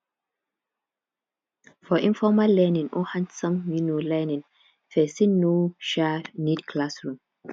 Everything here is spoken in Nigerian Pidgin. for informal learning or handson um learning person no um need classroom